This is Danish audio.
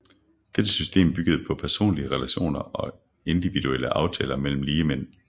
Dette system byggede på personlige relationer og individuelle aftaler mellem ligemænd